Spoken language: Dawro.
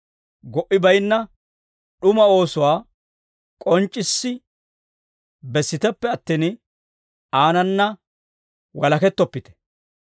Go"i bayinna d'umaa oosuwaa k'onc'c'issi bessiteppe attin aanana walakettoppite.